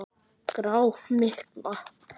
Grá. mygla!